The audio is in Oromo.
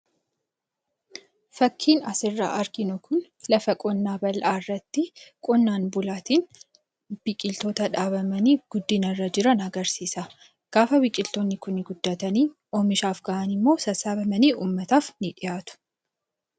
Fakkiin asirraa arginu kun lafa qonnaa bal'aa irratti qonnaan bulaatiin biqiltoota dhaabamanii guddina irra jiran agarsiisa. Gaafa biqiltoonni kuni guddatanii, oomishaaf gahan immoo sassaabamanii uummataaf ni dhiyaatu.